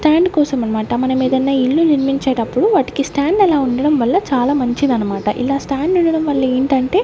stand కోసం అనమాట మనం ఏదైన ఇల్లు నిర్మించేటప్పుడు వాటికి స్టాండ్ అలా ఉండడం వల్ల చాలా మంచిది అనమాట ఇలా స్టాండ్ ఉండడం వల్ల ఏంటంటే --